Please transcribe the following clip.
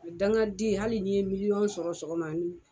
Dangaden hali n'i ye miliyɔn sɔrɔ sɔgɔma ani